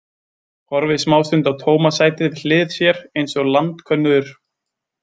Horfir smástund á tóma sætið við hlið sér, eins og landkönnuður.